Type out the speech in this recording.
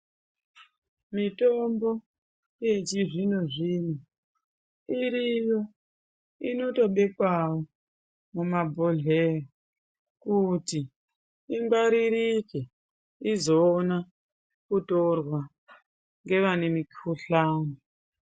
Mitombo yechizvino-zvino iriyo inotobekwawo mumabhodhleya kuti ingwaririke izoona kutorwa ngevane mikhuhlani.